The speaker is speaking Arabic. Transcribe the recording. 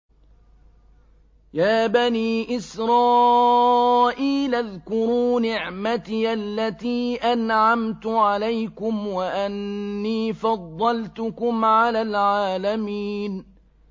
يَا بَنِي إِسْرَائِيلَ اذْكُرُوا نِعْمَتِيَ الَّتِي أَنْعَمْتُ عَلَيْكُمْ وَأَنِّي فَضَّلْتُكُمْ عَلَى الْعَالَمِينَ